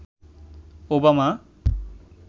Obama